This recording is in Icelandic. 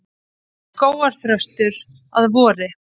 Skógarþröstur að vori.